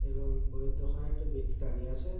এবং বই এর দোকানে একটা ব্যক্তি দাঁড়িয়ে আছে --